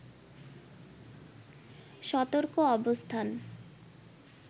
সতর্ক অবস্থান